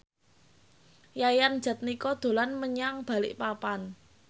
Yayan Jatnika dolan menyang Balikpapan